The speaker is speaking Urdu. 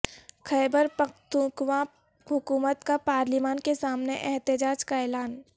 خیبر پختونخواہ حکومت کا پارلیمان کے سامنے احتجاج کا اعلان